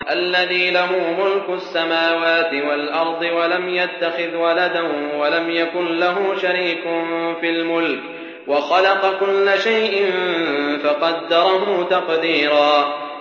الَّذِي لَهُ مُلْكُ السَّمَاوَاتِ وَالْأَرْضِ وَلَمْ يَتَّخِذْ وَلَدًا وَلَمْ يَكُن لَّهُ شَرِيكٌ فِي الْمُلْكِ وَخَلَقَ كُلَّ شَيْءٍ فَقَدَّرَهُ تَقْدِيرًا